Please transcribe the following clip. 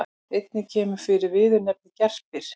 Einnig kemur fyrir viðurnefnið gerpir.